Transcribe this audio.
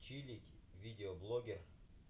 чилить видеоблогер